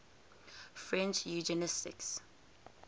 french eugenicists